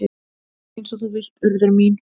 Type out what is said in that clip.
"""Eins og þú vilt, Urður mín."""